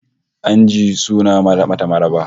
An jiyo suna mata maraba